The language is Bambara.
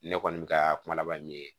Ne kɔni bɛ ka kuma laban min ye